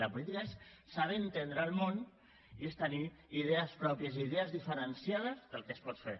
la política és saber entendre el món i és tenir idees pròpies i idees diferenciades del que es pot fer